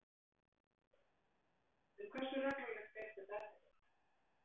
En hversu reglulegt er þetta eftirlit?